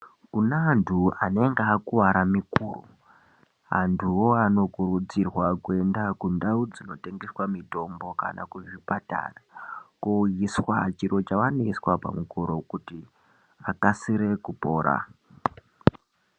Kune antu anenge akuwara mikuro, antuwo anokurudzirwa kuenda kundau dzinotengeswa mitombo kana kuzvipatara koiswa chiro chavanoiswa pamikuro kuti akasire kupora.